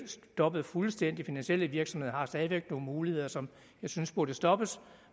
stoppet fuldstændigt virksomheder har stadig væk nogle muligheder som jeg synes burde stoppes